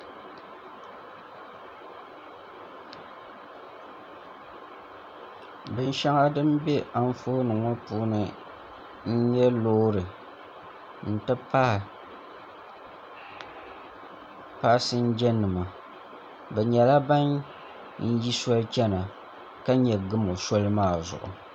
Binshɛŋa din bɛ Anfooni ŋɔ puuni n nyɛ loori n ti pahi paasinja nima bi nyɛla ban yi soli chɛna ka nyɛ gamo soli maa zuɣu